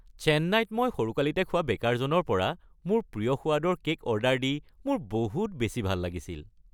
চেন্নাইত মই সৰুকালিতে খোৱা বেকাৰজনৰ পৰা মোৰ প্ৰিয় সোৱাদৰ কেক অৰ্ডাৰ দি মোৰ বহুত বেছি ভাল লাগিছিল।